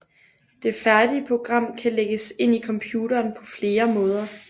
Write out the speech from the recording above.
Det færdige program kan lægges ind i computeren på flere måder